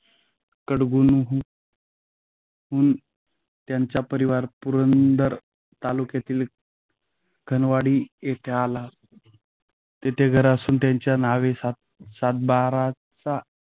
कटगुणहून हुन त्यांचा परिवार पुरंदर तालुक्यातील खानवडी येथे आला. तेथे घर असून, त्यांच्या नावे सात सातबाराचा